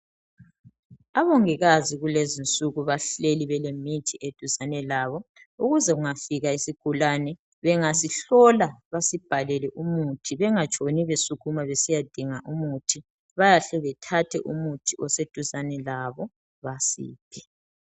Abongikazi kulezinsuku bahleli belemithi eduzane labo ukuze kungafika isigulane, bangasihlola basibhalele umuthi bengatshoni besukuma besiyadinga umuthi. Bayahle bethathe umuthi oseduzane labo basiphe.